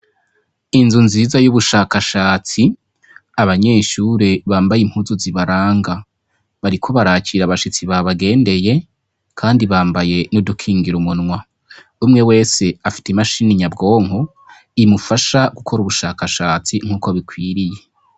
Inzu nziza y'ubushakashatsi, abanyeshure bambaye impuzu zibaranga. Bariko barakira abashitsi babagendeye, kandi bambaye n'udukingira umunwa. Umwe wese afite imashini nyabwonko imufasha gukora ubushakashatsi nk'uko bikwiriye.